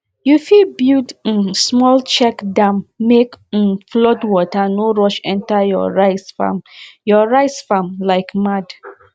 you fit build um small check dam make um flood water no rush enter your rice farm your rice farm like mad